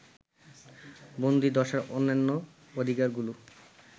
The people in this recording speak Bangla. বন্দীদশার অন্যান্য অধিকারগুলো